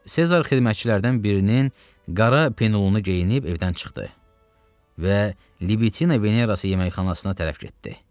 Sezar xidmətçilərdən birinin qara penlunu geyinib evdən çıxdı və Libitina Verasız yeməkxanasına tərəf getdi.